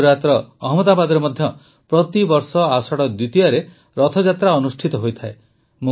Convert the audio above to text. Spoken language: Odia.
ଗୁଜରାଟର ଅହମ୍ମଦାବାଦରେ ମଧ୍ୟ ପ୍ରତିବର୍ଷ ଆଷାଢ଼ ଦ୍ୱିତୀୟାରେ ରଥଯାତ୍ରା ଅନୁଷ୍ଠିତ ହୋଇଥାଏ